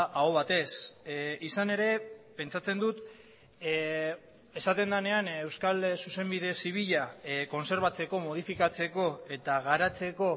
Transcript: aho batez izan ere pentsatzen dut esaten denean euskal zuzenbide zibila kontserbatzeko modifikatzeko eta garatzeko